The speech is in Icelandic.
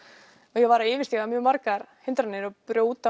og ég var að yfirstíga margar hindranir og brjóta